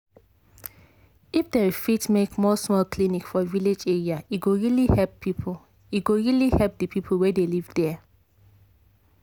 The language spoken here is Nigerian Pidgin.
if dem fit make more small clinic for village area e go really help the people wey dey live there